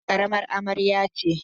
Hajara karamar amarya ce.